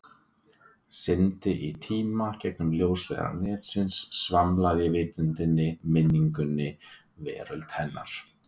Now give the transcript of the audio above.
Syndi í tíma, gegnum ljósleiðara netsins, svamla í vitundinni, minningum, veröld hennar.